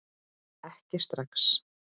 Ekki strax